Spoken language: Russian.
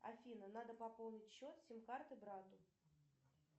афина надо пополнить счет сим карты брату